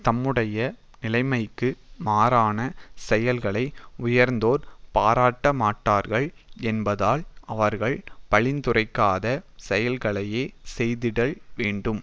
தம்முடைய நிலைமைக்கு மாறான செயல்களை உயர்ந்தோர் பாராட்டமாட்டார்கள் என்பதால் அவர்கள் பழித்துரைக்காத செயல்களையே செய்திடல் வேண்டும்